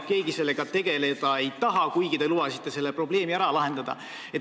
Keegi sellega tegeleda ei taha, kuigi te lubasite selle mure ära lahendada.